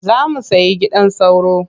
Za mu sai gidan sauro.